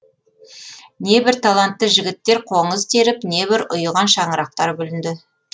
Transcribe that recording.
небір талантты жігіттер қоңыз теріп небір ұйыған шаңырақтар бүлінді